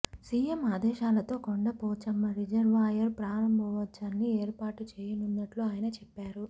CM ఆదేశాలతో Kondapochamma reservoir ప్రారంభోత్సవాన్ని ఏర్పాటు చేయనున్నట్లు ఆయన చెప్పారు